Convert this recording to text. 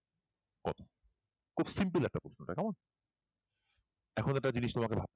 এখন এটা জিনিস নিয়ে আমাদের ভাবতে হবে